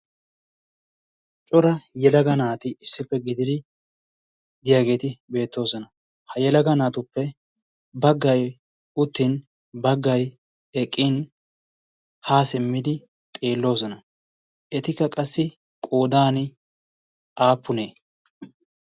cora yelaga naati issippe gidii diyaageeti beettoosona ha yelaga naatuppe baggay uttin baggay eqqin haa simmidi xiilloosona etikka qassi qoodan aappunee